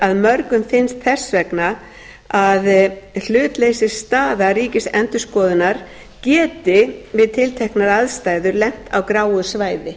þannig að mörgum finnst þess vegna að hlutleysisstaða ríkisendurskoðunar geti við tilteknar aðstæður lent á gráu svæði